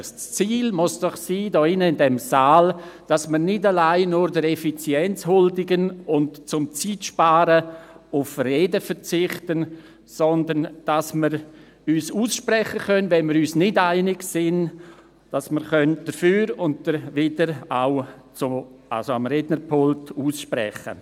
– Das Ziel hier in diesem Saal muss es doch sein, dass wir nicht allein der Effizienz huldigen und – um Zeit zu sparen – auf Reden verzichten, sondern dass wir uns, wenn wir uns nicht einig sind, am Rednerpult über das Dafür und Dawider aussprechen können.